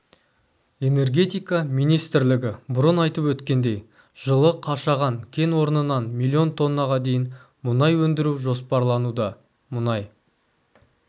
энергетика министрлігі бұрын айтып өткендей жылы қашаған кен орнынан миллион тоннаға дейін мұнай өндіру жоспарлануда мұнай